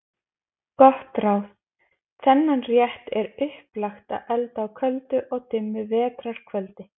Gott ráð: Þennan rétt er upplagt að elda á köldu og dimmu vetrar kvöldi.